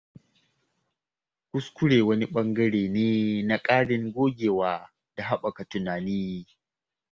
Kuskure wani ɓangare ne na ƙarin gogewa da haɓaka tunani.